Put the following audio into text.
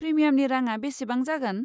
प्रिमियामनि राङा बेसेबां जागोन?